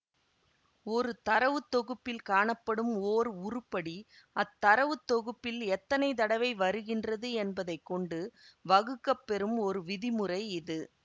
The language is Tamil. ஒரு தரவுத்தொகுப்பில் காணப்படும் ஓர் உருப்படி அத்தரவுத்தொகுப்பில் எத்தனை தடவை வருகின்றது என்பதை கொண்டு வகுக்கப்பெறும் ஒரு விதிமுறை இது